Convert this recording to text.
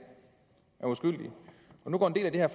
er uskyldig nu går en del af det her